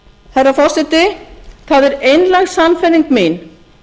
herra forseti það er einlæg sannfæring mín